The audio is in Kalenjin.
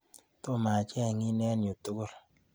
Tomo acheng'in eng' uy tukul